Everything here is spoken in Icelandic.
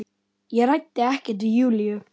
Ég ræddi ekkert við Júlíu.